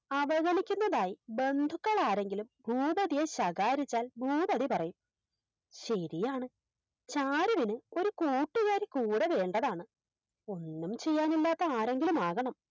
അവഗണിക്കുന്നതായി ബന്ധുക്കളാരെങ്കിലും ഭൂപതിയെ ശകാരിച്ചാൽ ഭൂപതി പറയും ശെരിയാണ് ചാരുവിന് ഒര് കൂട്ടുകാരി കൂടെ വേണ്ടതാണ് ഒന്നും ചെയ്യാനില്ലാത്ത ആരെങ്കിലുമാകണം